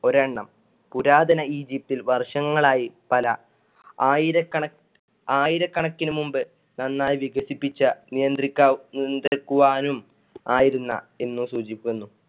ഒരണ്ണം പുരാതന ഈജിപ്തിൽ വര്ഷങ്ങളായി പല ആയിരക്കണ~ ആയിരകണക്കിന് മുമ്പ് നന്നായി വികസിപ്പിച്ച നിയന്ത്രിക്കാ~ നിയന്ത്രിക്കുവാനും ആയിരുന്ന എന്ന് സൂചിപ്പിക്കുന്നു.